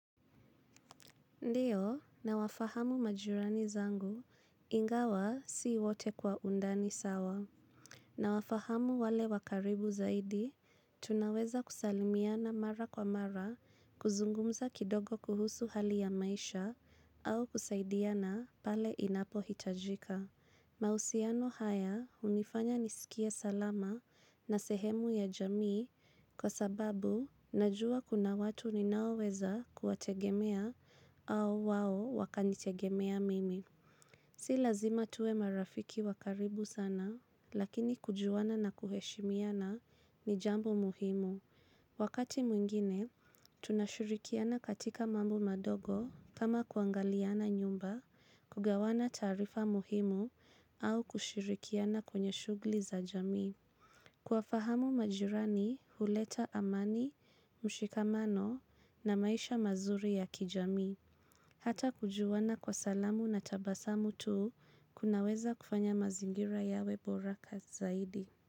Ndiyo, nawafahamu majirani zangu, ingawa si wote kwa undani sawa. Na wafahamu wale wa karibu zaidi, tunaweza kusalimiana mara kwa mara, kuzungumza kidogo kuhusu hali ya maisha, au kusaidiana pale inapo hitajika. Mahusiano haya unifanya nisikie salama na sehemu ya jamii kwa sababu najua kuna watu ninaoweza kuwategemea au wao wakanitegemea mimi. Si lazima tuwe marafiki wa karibu sana, lakini kujuana na kuheshimiana ni jambo muhimu. Wakati mwingine, tunashirikiana katika mambo madogo kama kuangaliana nyumba, kugawana taarifa muhimu au kushurikiana kwenye shughuli za jamii. Kuwafahamu majirani, huleta amani, mshikamano na maisha mazuri ya kijamii. Hata kujuana kwa salamu na tabasamu tu kunaweza kufanya mazingira yawe bora zaidi.